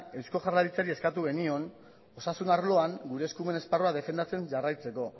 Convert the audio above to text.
eusko jaurlaritzari eskatu genion osasun arloan gure eskumen esparrua defendatzen jarraitzeko